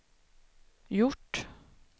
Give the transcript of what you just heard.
gjort